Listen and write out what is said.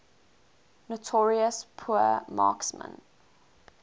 notorious poor marksmen